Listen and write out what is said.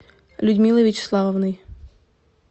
людмилой вячеславовной